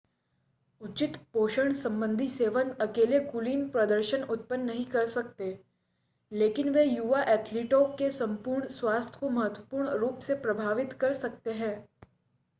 उचित पोषण संबंधी सेवन अकेले कुलीन प्रदर्शन उत्पन्न नहीं कर सकते लेकिन वे युवा एथलीटों के संपूर्ण स्वास्थ्य को महत्वपूर्ण रूप से प्रभावित कर सकते हैं